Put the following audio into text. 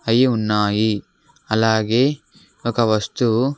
అయి ఉన్నాయి అలాగే ఒక వస్తువు--